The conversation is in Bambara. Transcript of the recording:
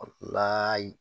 La